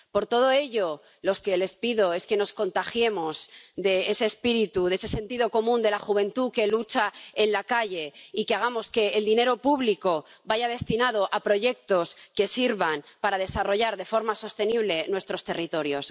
Por todo ello, lo que les pido es que nos contagiemos de ese espíritu, de ese sentido común de la juventud que lucha en la calle, y que hagamos que el dinero público vaya destinado a proyectos que sirvan para desarrollar de forma sostenible nuestros territorios.